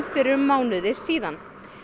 fyrir um mánuði síðan